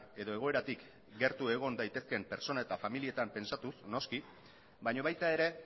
edo egoeratik gertu egon daitezkeen pertsona eta familietan pentsatuz noski baina baita ere